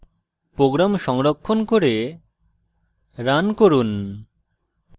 program সংরক্ষণ করে run run